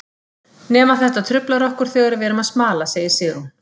Nema þetta truflar okkur þegar við erum að smala, segir Sigrún.